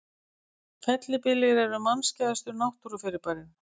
Fellibyljir eru mannskæðustu náttúrufyrirbærin.